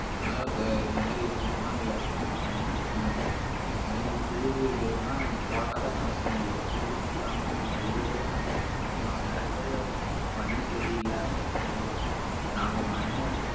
அதாவது க~ இந்த மாதிரி விஷயத்தன்னா விவசாயம் எல்லாம் ரொம்ப முக்கியம் அதே மாதிரி புழுவு இதெல்லாம் போட்டாதான் விவசாயம் இல்ல புழுவும் இல்லாம எ~ எவ்வளவோ பண்ணலாம் நிறைய பேரு மண்ணு சரியில்லை அப்படி எல்லாம் எதுவும் இல்ல நாம மண்ணை